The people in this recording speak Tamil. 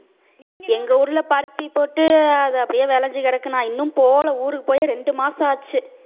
எங்க ஊர்ல பருத்தி போட்டு அது அப்படியே விளைஞ்சு கிடக்கு நான் இன்னும் போல ஊருக்கு போய் ரெண்டு மாசம் ஆச்சு.